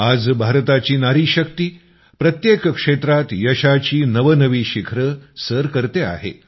आज भारताची नारीशक्ती प्रत्येक क्षेत्रात यशाची नवनवी शिखरं सर करते आहे